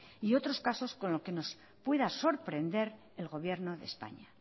y otros casos con los que nos pueda sorprender el gobierno de españa